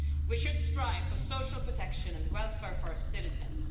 We should strive for social protection and welfare for our citizens.